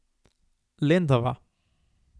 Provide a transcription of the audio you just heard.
Lendava.